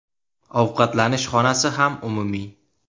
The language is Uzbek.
Ovqatlanish xonasi ham umumiy.